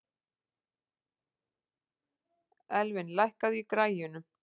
Elvin, lækkaðu í græjunum.